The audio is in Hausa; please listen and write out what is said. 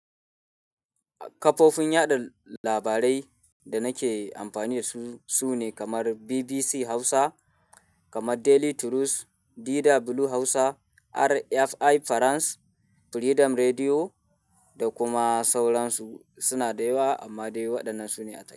Kafofin yaɗa labarai da nake amfani da su su ne kamar BBC Hausa, kamar Daily Trust, Dida Blue Hausa, RFI Farans, Freedom Radio da kuma sauransu. Suna da yawa amma dai waɗannan su ne a take.